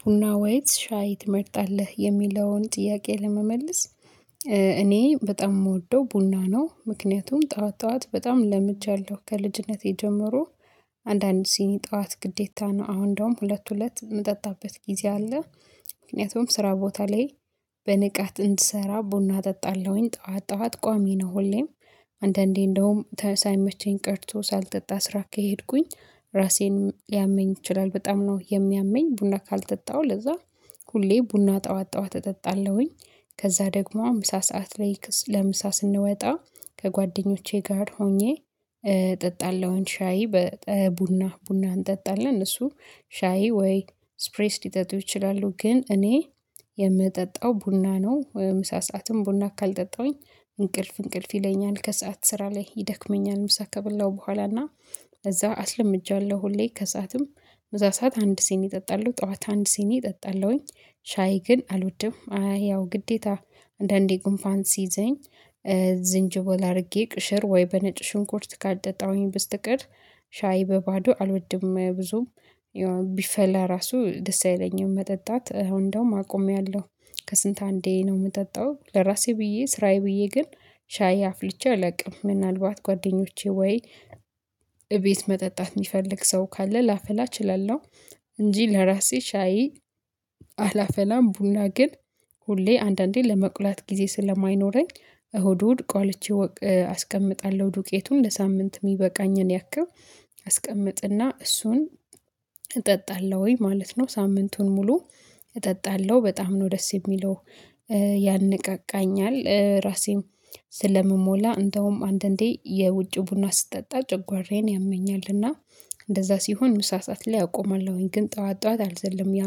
ቡና ወይስ ሻይ ትመርጣለህ የሚለውን ጥያቄ ለመመለስ? እኔ በጣም የምወደው ቡና ነው ምክንያቱም ጠዋት ጠዋት በጣም ለምጃለሁ ከልጅነቴ ጀምሮ። አንዳንድ ሲኒ ጠዋት ግዴታ ነው አሁን ደግሞ ሁለት ሁለት የምጠጣበት ጊዜ አለ። ምክንያቱም ስራ ቦታ ላይ በንቃት እንድሰራ ቡና እጠጣለሁኝ። ጠዋት ጠዋት ቋሚ ነው ሁሌም። አንዳንዴ እንደውም ሳይመቸኝ ቀርቶ ሳልጠጣ ስራ ከሄድኩኝ ራሴን ሊያመኝ ይችላል በጣም ነው የሚያመኝ። ቡና ካልጠጣሁ ለዛ ሁሌ ቡና ጠዋት ጠዋት እጠጣለሁኝ። ከዛ ደግሞ ምሳ ሰዓት ላይ ለምሳ ስንወጣ ከጓደኞቼ ጋር ሆኜ እጠጣለሁ ሻይ። ቡና ቡና እንጠጣለን እነሱ ሻይ ወይ ስፕሬስ ሊጠጡ ይችላሉ። ግን እኔ የምጠጣው ቡና ነው። ምሳ ሰዓትም ቡና ካልጠጣሁኝ እንቅልፍ እንቅልፍ ይለኛል ከሰአት ስራ ላይ ይደክመኛል። ምሳ ከበላሁ በኋላና እዛ አስለምጃለሁ ሁሌ ከሰአትም እዛ ሰዓት አንድ ሲኒ እጠጣለሁ። ጠዋት አንድ ሴን እጠጣለሁኝ ሻይ ግን አልወድም። አይ ያው ግዴታ አንዳንዴ ግንፋን ሲይዘኝ ዝንጅብል አድርጌ ቅሽር ወይ በነጭ ሽንኩርት ካልጠጣሁኝ ብስትቀር ሻይ በባዶ አልወድም። ብዙም ቢፈላ ራሱ ደስ አይለኝም መጠጣት አሁን እንደውም አቆሜያለሁ። ከስንት አንዴ ነው የምጠጣው ለራሴ ብዬ ስራዬ ብዬ ግን ሻይ አፍልቼ አላውቅም። ምናልባት ጓደኞቼ ወይ እቤት መጠጣት የሚፈልግ ሰው ካለ ላፈላ እችላለሁ። እንጂ ለራሴ ሻይ አላፈላም። ቡና ግን ሁሌ አንዳንዴ ለመቁላት ጊዜ ስለማይኖረኝ እሁድ እሁድ ቆልቼ አስቀምጣለሁ ዱቄቱን ለሳምንት የሚበቃኝን ያክል አስቀምጥና እሱን እጠጣለሁ። ወይ ማለት ነው ሳምንቱን ሙሉ እጠጣለሁ በጣም ነው ደስ የሚለው። ያነቃቃኛል ራሴም ስለምሞላ እንደውም አንዳንዴ የውጭ ቡና ስጠጣ ጨጉዋራዬን ያመኛል እና እንደዛ ሲሆን ምሳ ሰዓት ላይ አቆማለሁኝ። ግን ጠዋት ጠዋት አልዘልም ያ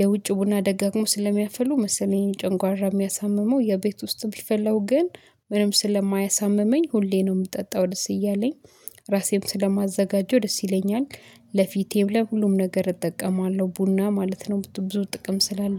የውጭ ቡና ደጋግሞ ስለሚያፈሉ መሰለኝ ጭንጓራ የሚያሳምመው የቤት ውስጥ ቢፈላው ግን ምንም ስለማያሳምመኝ ሁሌ ነው የምጠጣው ደስ እያለኝ ራሴን ስለማዘጋጀው ደስ ይለኛል። ለፊቴም ለሁሉም ነገር እጠቀማለሁ ቡና ማለት ነው ብዙ ጥቅም ስላለ